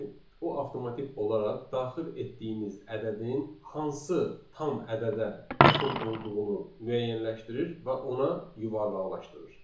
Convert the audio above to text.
o avtomatik olaraq daxil etdiyimiz ədədin hansı tam ədədə yaxın olduğunu müəyyənləşdirir və ona yuvarlaqlaşdırır.